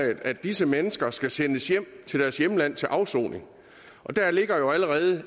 at disse mennesker skal sendes hjem til deres hjemland til afsoning der ligger jo allerede